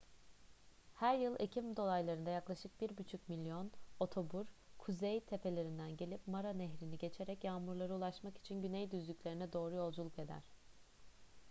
her yıl ekim dolaylarında yaklaşık 1,5 milyon otobur kuzey tepelerinden gelip mara nehrini geçerek yağmurlara ulaşmak için güney düzlüklerine doğru yolculuk eder